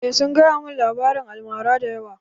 Eh sun gaya mun labarin almara da yawa